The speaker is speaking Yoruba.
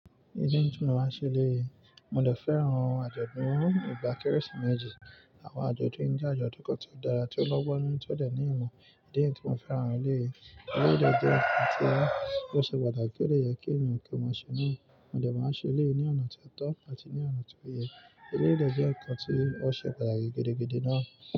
Mo máa ṣe léyìí. Mo de fẹ́ran àjọ̀dún ìgbà Kérésìmesì. Àwọn àjọ̀dún yi je ajodun kán tí ó dára tí ó lọ́gbọ́n nu tí ó de ní ìmọ̀. Diẹ nítú mo fẹ́ran léyìí. Ó de jẹ́ ǹkan tí ó ṣe pàtàkì ó dè yẹ kí èniyàn kí o ma ṣe na. Mo de máa n ṣe eleyií ní ọ̀nà tí a tó àtí ní ọ̀nà tí ó yẹ. Ó de jẹ́ ǹkan tí ó ṣe pàtàkì gidigidi náà.